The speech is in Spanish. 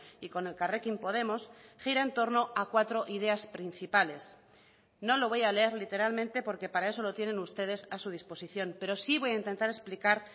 y con elkarrekin podemos gira en torno a cuatro ideas principales no lo voy a leer literalmente porque para eso lo tienen ustedes a su disposición pero sí voy a intentar explicar